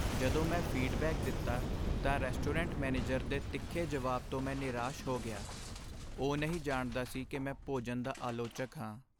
ਜਦੋਂ ਮੈਂ ਫੀਡਬੈਕ ਦਿੱਤਾ ਤਾਂ ਰੈਸਟੋਰੈਂਟ ਮੈਨੇਜਰ ਦੇ ਤਿੱਖੇ ਜਵਾਬ ਤੋਂ ਮੈਂ ਨਿਰਾਸ਼ ਹੋ ਗਿਆ। ਉਹ ਨਹੀਂ ਜਾਣਦਾ ਸੀ ਕਿ ਮੈਂ ਭੋਜਨ ਦਾ ਆਲੋਚਕ ਹਾਂ।